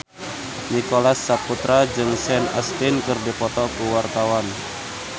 Nicholas Saputra jeung Sean Astin keur dipoto ku wartawan